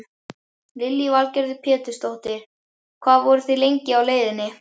Lillý Valgerður Pétursdóttir: Hvað voruð þið lengi á leiðinni?